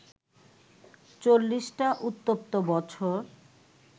চল্লিশটা উত্তপ্ত বছর